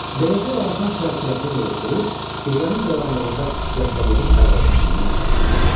Beləcə Labakan şələ kürəsini yığışdırıb gecənin qaranlığında İskəndəriyyənin darvazasından çıxdı.